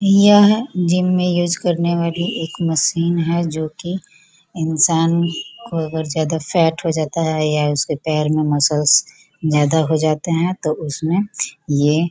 यह जिम में यूज करने वाली एक मशीन है जो की इंसान को अगर ज्यादा फेट हो जाता है या उसके पैर में मसल्स ज्यादा हो जाते है तो उसमें ये --